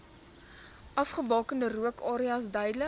afgebakende rookareas duidelik